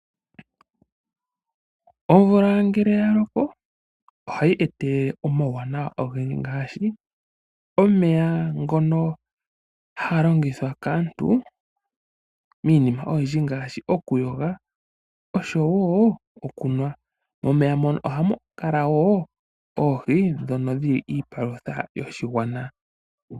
Omvula ngele ya loko ohayi eta omauwanawa ogendji ngashi omeya ngono haga longithwa kaantu miinima oyindji ngashi oku yo ga oshowo okunwa. Momeya mono ohamu kala wo oohi dhono dhili ipalutha yoshigwana.